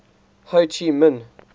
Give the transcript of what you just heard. ho chi minh